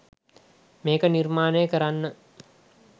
මේක නිර්මාණය කරන්න